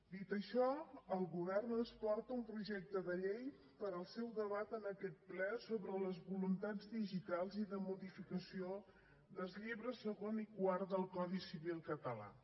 dit això el govern ens porta un projecte de llei per al seu debat en aquest ple sobre les voluntats digitals i de modificació dels llibres segon i quart del codi civil català